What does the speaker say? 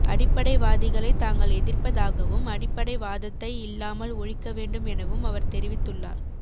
அடிப்படைவாதிகளை தாங்கள் எதிர்ப்பதாகவும் அடிப்படைவாதத்தை இல்லாமல் ஒழிக்க வேண்டும் எனவும் அவர் தெரிவித்துள்ளா